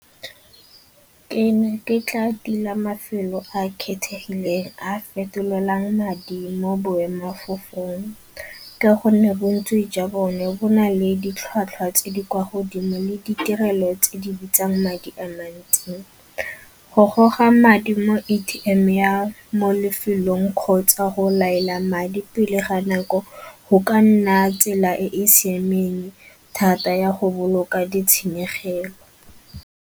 Ke ne ke tla tila mafelo a a kgethegileng a a fetolang madi mo boemafofeng ka gonne bontsi jwa bone bo na le ditlhwatlhwa tse di kwa godimo le ditirelo tse di bitsang madi a mantsi. Go goga madi mo A_T_M ya mo lefelong kgotsa go laela madi pele ga nako go ka nna tsela e e siameng thata ya go boloka di tshenyegelo.